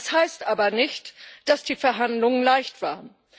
Das heißt aber nicht, dass die Verhandlungen leicht waren.